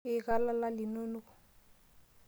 Ika lala linonok.